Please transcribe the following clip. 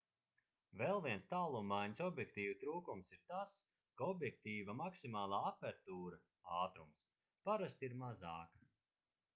vēl viens tālummaiņas objektīvu trūkums ir tas ka objektīva maksimālā apertūra ātrums parasti ir mazāka